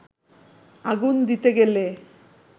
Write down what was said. আগুন দিতে গেলে